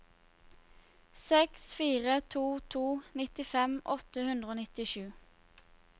seks fire to to nittifem åtte hundre og nittisju